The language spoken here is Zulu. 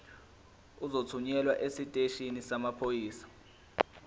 uzothunyelwa esiteshini samaphoyisa